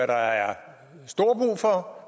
der er stor brug for